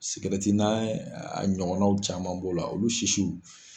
n'a ɲɔgɔnnaw caman b'o la olu sisiw.